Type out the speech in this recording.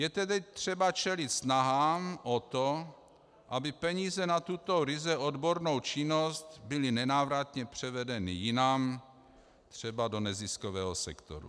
Je tedy třeba čelit snahám o to, aby peníze na tuto ryze odbornou činnost byly nenávratně převedeny jinam, třeba do neziskového sektoru.